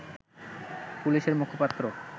পুলিশের মুখপাত্র